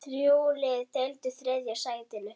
Þrjú lið deildu þriðja sætinu.